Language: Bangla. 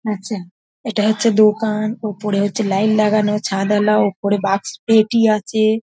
আচ্ছা এটা হচ্ছে দোকান ওপরে হচ্ছে লাইন লাগানো ছাদওলা ওপরে বাক্স পেটি আছে।